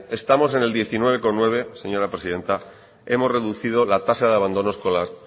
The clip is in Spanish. estamos en el diecinueve coma nueve señora presidenta hemos reducido la tasa de abandono escolar